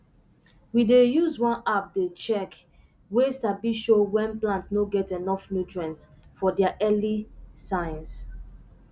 we dey use one app dey check way sabi show when plant no get enough nutrients for there early signs